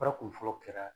Fara kun fɔlɔ kɛra